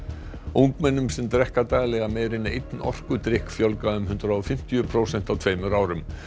ungmennum sem drekka daglega meira en einn orkudrykk fjölgaði um hundrað og fimmtíu prósent á tveimur árum